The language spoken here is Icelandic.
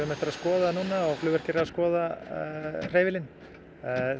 eftir að skoða það flugvirkjar eru að skoða hreyfilinn